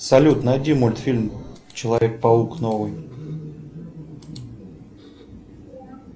салют найди мультфильм человек паук новый